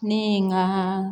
Ne ye n ka